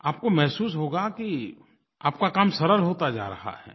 आपको महसूस होगा कि आपका काम सरल होता जा रहा है